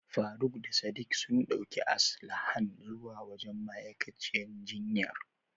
Faruk da Sadik sun ɗauki Aslahan zuwa wajen ma'aikaciyar jinyar.